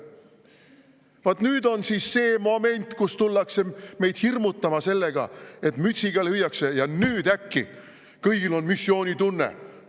Vaat nüüd on see moment, kus tullakse meid hirmutama sellega, et mütsiga lüüakse, ja nüüd äkki kõigil on missioonitunne.